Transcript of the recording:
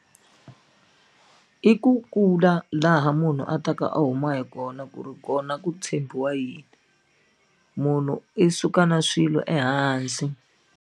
I ku kula laha munhu a taka a huma hi kona ku ri kona ku tshembiwa yini munhu i suka na swilo ehansi.